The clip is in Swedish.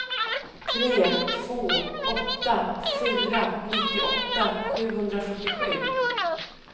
tre två åtta fyra nittioåtta sjuhundrafyrtiosju